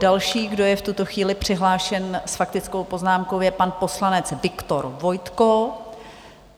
Další, kdo je v tuto chvíli přihlášen s faktickou poznámkou, je pan poslanec Viktor Vojtko.